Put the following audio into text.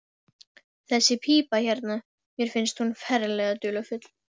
Þessi pípa hérna. mér finnst hún ferlega dularfull.